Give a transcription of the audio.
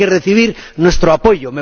tienen que recibir nuestro apoyo.